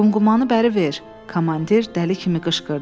Qumqumanı bəri ver, komandir dəli kimi qışqırdı.